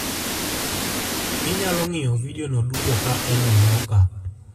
Inyalo ng'iyo vidiono duto ka en e bwo ka: